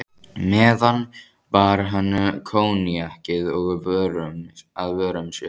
meðan bar hann koníakið að vörum sér.